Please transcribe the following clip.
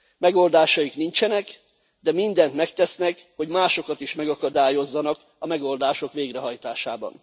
Megoldásaik nincsenek, de mindent megtesznek, hogy másokat is megakadályozzanak a megoldások végrehajtásában.